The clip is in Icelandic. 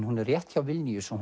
hún er rétt hjá Vilnius og